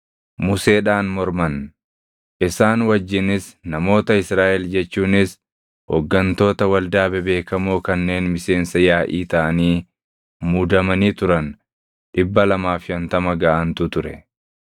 Museedhaan morman. Isaan wajjinis namoota Israaʼel jechuunis hooggantoota waldaa bebeekamoo kanneen miseensa yaaʼii taʼanii muudamanii turan 250 gaʼantu ture.